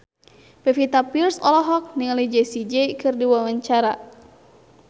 Pevita Pearce olohok ningali Jessie J keur diwawancara